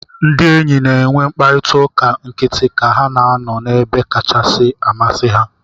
Ndị enyi na-enwe mkparịta ụka nkịtị ka ha na-anọ n'ebe kachasị amasị ha.